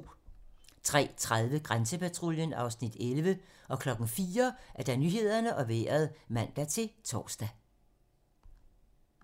03:30: Grænsepatruljen (Afs. 11) 04:00: Nyhederne og Vejret (man-tor)